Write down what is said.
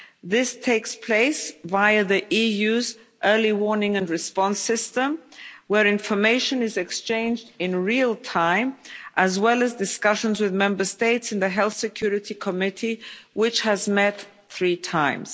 This takes place via the EU's early warning and response system, where information is exchanged in real time, as well as discussions with Member States in the Health Security Committee, which has met three times.